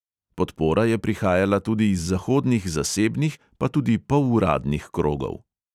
Podpora je prihajala tudi iz zahodnih zasebnih, pa tudi poluradnih krogov.